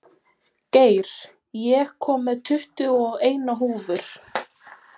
Geir, ég kom með tuttugu og eina húfur!